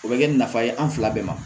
O bɛ kɛ ni nafa ye an fila bɛɛ ma